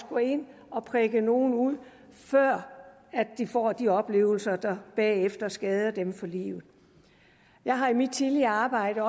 gå ind og prikke nogle ud før de får de oplevelser der bagefter skader dem for livet jeg har i mit tidligere arbejde